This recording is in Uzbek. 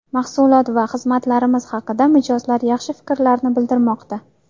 Mahsulot va xizmatlarimiz haqida mijozlar yaxshi fikrlarni bildirmoqda.